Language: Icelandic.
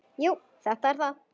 Jú, þetta er það.